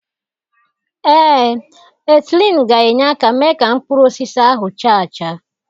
Ee, etịlin ga-enye aka mee ka mkpụrụ osisi ahụ chaa acha.